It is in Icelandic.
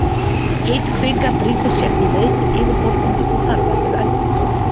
Heit kvika brýtur sér því leið til yfirborðsins og þar verður eldgos.